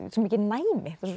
svo mikið næmi